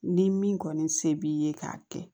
Ni min kɔni se b'i ye k'a kɛ